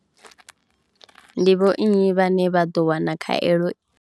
Ndi vho nnyi vhane vha ḓo wana khaelo.